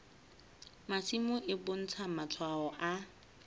masimo e bontsha matshwao a